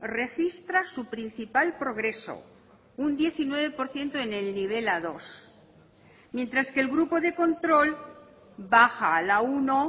registra su principal progreso un diecinueve por ciento en el nivel a dos mientras que el grupo de control baja a la uno